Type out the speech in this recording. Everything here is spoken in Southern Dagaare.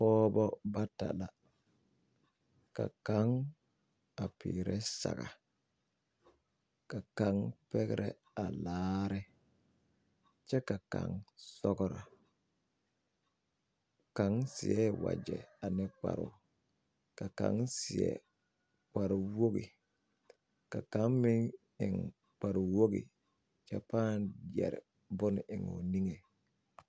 Pɔgba bata na ka kang a piere sagre ka kang pegre a laare kye ka kang sɔgru kang seɛ waje ane kparoo ka kang seɛ kpare wogi ka kang meng eng kpari wogi kye paa yeri bun en ɔ ninge.